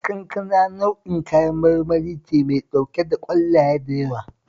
Kankana nau'in kayan marmari ce mai ɗauke da ƙwallaye da yawa